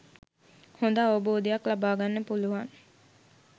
හොඳ අවබෝධයක් ලබාගන්න පුළුවන්.